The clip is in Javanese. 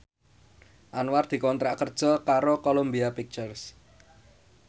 Anwar dikontrak kerja karo Columbia Pictures